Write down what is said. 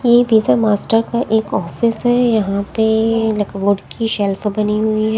ये Visa master का एक ऑफिस है यहां पे लकबोर्ड की शेल्फ बनी हुई हैं।